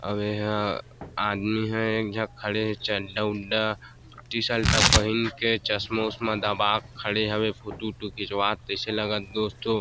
अउ एहा आदमी ह एक झ खड़े हे चड्डा-वड्डा टी शर्ट पहिन के चस्मा वशमा दबा के खड़े हवे फोटु ऊटु खिचवात तइसे लगत दोस्तों--